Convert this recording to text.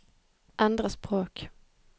endre språk